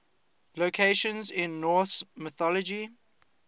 locations in norse mythology